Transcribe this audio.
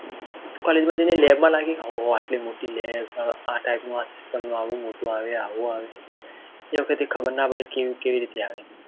તું College માં જઈને લેબમાં ના ગયા હો આટલી મૉટે લેબ આ Type નું આ system નું મોટું આવે આવું આવે એ વખતે ખબર ના પડી કેવી રીતે આવે